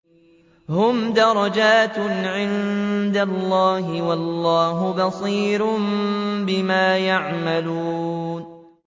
هُمْ دَرَجَاتٌ عِندَ اللَّهِ ۗ وَاللَّهُ بَصِيرٌ بِمَا يَعْمَلُونَ